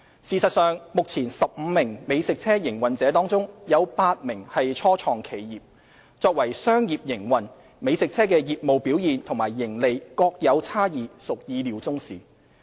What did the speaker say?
事實上，目前15名美食車營運者中，有8名是初創企業，作為商業營運，美食車業務表現及盈利各有差異屬意料中事。